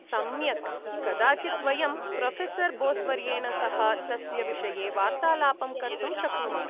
सम्यक्, कदाचित् वयं प्रोफ़ेसर् बोस्वर्येण सह तस्य विषये वार्तालापं कर्तुं शक्नुमः।